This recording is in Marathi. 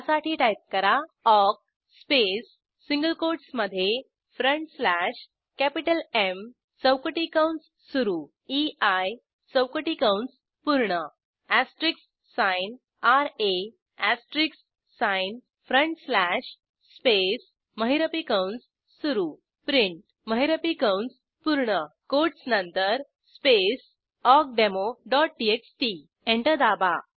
त्यासाठी टाईप करा ऑक स्पेस सिंगल कोट्स मध्ये फ्रंट स्लॅश कॅपिटल एम चौकटी कंस सुरू ei चौकटी कंस पूर्ण asterisks signra asterisks sign front slash space महिरपी कंस सुरू प्रिंट महिरपी कंस पूर्ण कोटस नंतर स्पेस awkdemoटीएक्सटी एंटर दाबा